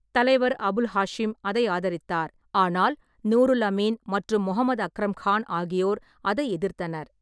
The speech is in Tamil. தலைவர் அபுல் ஹாஷிம் அதை ஆதரித்தார், ஆனால் நூருல் அமீன் மற்றும் முகமது அக்ரம் கான் ஆகியோர் அதை எதிர்த்தனர்.